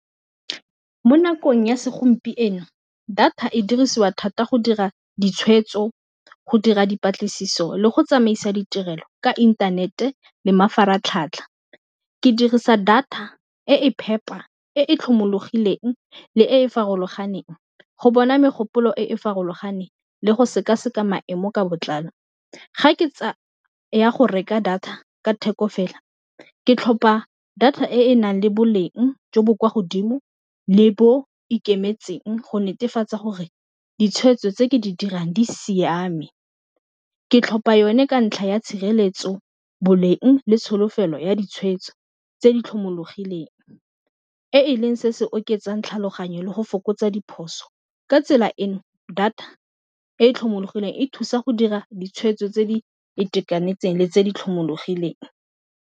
Mo nakong ya segompieno data e dirisiwa thata go dira ditshwetso, go dira dipatlisiso, le go tsamaisa ditirelo ka inthanete le mafaratlhatlha ke dirisa data e e phepa e e tlhomologileng le e e farologaneng go bona megopolo e e farologaneng le go sekaseka maemo ka botlalo, ga ke ya go reka data ka theko fela ke tlhopa data e e nang le boleng jo bo kwa godimo le bo ikemetseng go netefatsa gore ditshweetso tse ke di dirang di siame, ke tlhopa yone ka ntlha ya tshireletso boleng le tsholofelo ya ditshwetso tse di tlhomologileng, e e leng se se oketsang tlhaloganyo le go fokotsa diphoso ka tsela eno data e e tlhomologileng e thusa go dira ditshwetso tse di itekanetseng le tse di tlhomologileng.